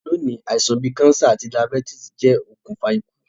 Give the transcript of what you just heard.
Loní, àisàn bi cancer àti diabetes je okùnfà ikú